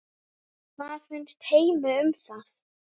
Hvað finnst Heimi um það?